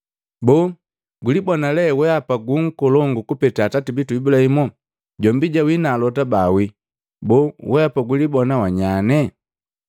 Boo gulibona lee weapa gu nkolongu kupeta atati bitu Ibulahimu? Jombi jawii na alota bawii. Boo weapa gulibona wa nyanye?”